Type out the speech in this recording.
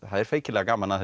feikilega gaman að